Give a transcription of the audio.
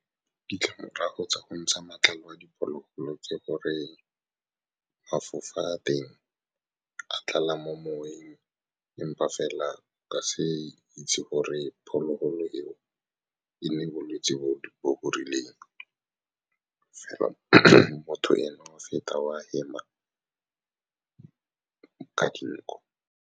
Ditlamorago tsa go ntsha matlalo a diphologolo ke gore mafofa teng a tlala mo moweng, empa fela ba se itse gore phologolo eo e ne e bolwetse bo bo rileng, fela motho ene wa feta, wa hema ka dinko.